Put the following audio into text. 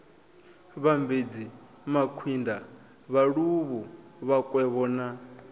vhambedzi makwinda vhaluvhu vhakwevho na